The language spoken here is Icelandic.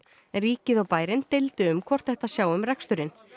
ríkið og bærinn deildu um hvort ætti að sjá um reksturinn